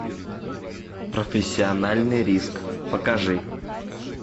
профессиональный риск покажи